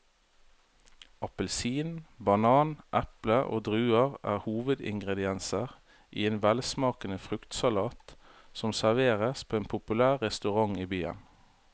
Appelsin, banan, eple og druer er hovedingredienser i en velsmakende fruktsalat som serveres på en populær restaurant i byen.